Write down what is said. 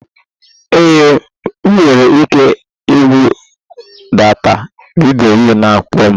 Ee, ị nwere ike ibudata vidiyo na-akpọ m.